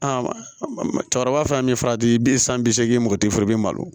cɛkɔrɔba fana min ye farati bi san bi seegin mɔgɔtinu fana i bi malo